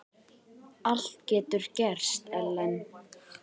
Allt getur gerst, Ellen.